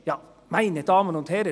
Ja, meine Damen und Herren!